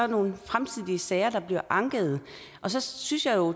nogle fremtidige sager der bliver anket og så synes jeg jo